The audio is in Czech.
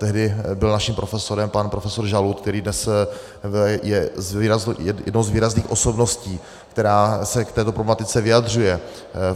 Tehdy byl naším profesorem pan profesor Žalud, který je dnes jednou z výrazných osobností, která se k této problematice vyjadřuje.